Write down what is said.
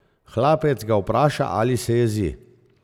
Hlapec ga vpraša, ali se jezi.